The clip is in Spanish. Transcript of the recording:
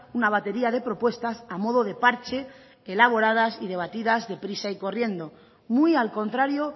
una batería de propuestas a modo de parche elaboradas y debatidas de prisa y corriendo muy al contrario